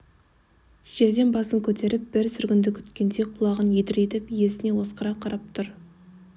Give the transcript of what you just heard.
жерден басын көтеріп бір сүргінді күткендей құлағын едірейтіп иесіне осқыра қарап тұр